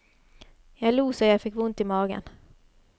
Jeg lo så jeg fikk vondt i magen.